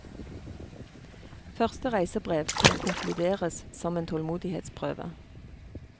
Første reisebrev kan konkluderes som en tålmodighetsprøve.